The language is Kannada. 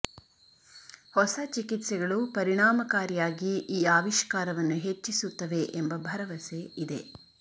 ಹೊಸ ಚಿಕಿತ್ಸೆಗಳು ಪರಿಣಾಮಕಾರಿಯಾಗಿ ಈ ಆವಿಷ್ಕಾರವನ್ನು ಹೆಚ್ಚಿಸುತ್ತವೆ ಎಂಬ ಭರವಸೆ ಇದೆ